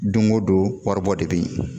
Don o don waribɔ de bɛ ye